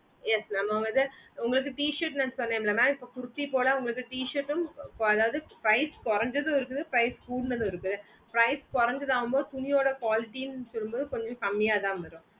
yes mam mam இது உங்களுக்கு t shirts லாம் சொன்னாலே இப்போ kurties ஓட t shirts ட்டும் அதாவது price கொறஞ்சதும் இருக்குது price கூடுனதும் இருக்குது price கொறஞ்சது வந்து துணியோட quality னு சொல்ல மோடு கொஞ்சம் கம்மியாத்தான் வரும்